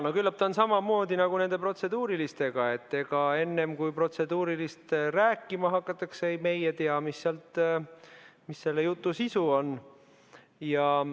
No küllap on samamoodi nagu nende protseduurilistega, et ega enne kui rääkima hakatakse, meie ei tea, mis selle jutu sisu on.